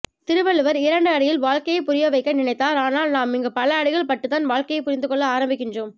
திருவள்ளுவர் இரண்டுஅடியில் வாழ்க்கையை புரிய வைக்க நினைத்தார் ஆனால் நாம் இங்கு பலஅடிகள் பட்டுத்தான் வாழ்க்கையை புரிந்துகொள்ள ஆரம்பிக்கின்றோம்